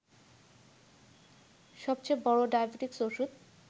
সবচেয়ে বড় ডায়াবেটিকস ওষুধ